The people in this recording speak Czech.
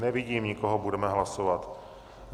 Nevidím nikoho, budeme hlasovat.